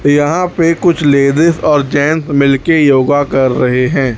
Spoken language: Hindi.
यहां पर कुछ लेडिस और जेंट्स मिलकर योगा कर रहे हैं।